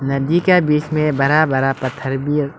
नदी के बीच में बड़ा बड़ा पत्थर भी--